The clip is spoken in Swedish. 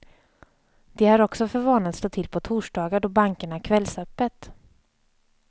De har också för vana att slå till på torsdagar då bankerna har kvällsöppet.